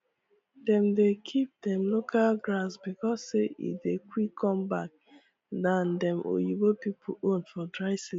dem dey keep dem local grass because say e dey quick come back than dem oyibo pipu own for dry season